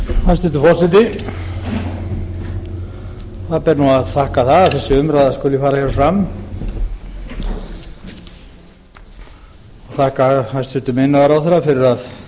hæstvirtur forseti það ber nú að þakka það að þessi umræða skuli fara hér fram ég vil þakka hæstvirtum iðnaðarráðherra fyrir að